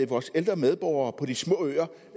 vores ældre medborgere på de små øer